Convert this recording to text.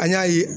An y'a ye